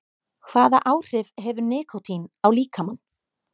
Hvaða áhrif hefur nikótín á líkamann?